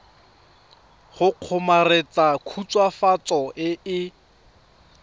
go kgomaretsa khutswafatso e e